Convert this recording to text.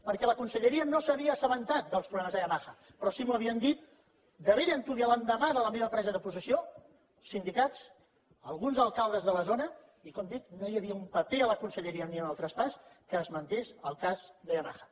perquè la conselleria no s’havia assabentat dels problemes de yamaha però sí que m’ho havien dit de bell antuvi l’endemà de la meva presa de possessió sindicats alguns alcaldes de la zona i com dic no hi havia ni un paper a la conselleria ni en el traspàs que esmentés el cas de yamaha